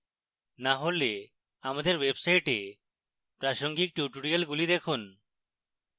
না হলে আমাদের website প্রাসঙ্গিক tutorials দেখুন